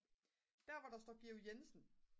der hvor der står Georg Jensen